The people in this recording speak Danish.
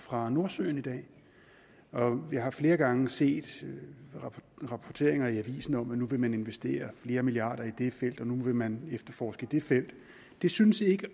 fra nordsøen i dag vi har flere gange set rapporteringer i avisen om at nu vil man investere flere milliarder i det felt og nu vil man efterforske det felt det synes ikke